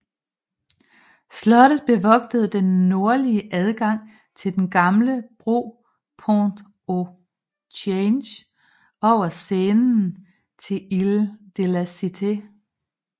Slottet bevogtede den nordlige adgang til den gamle bro Pont au Change over Seinen til Île de la Cité